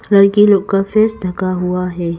लड़की लोग का फेस ढका हुआ है।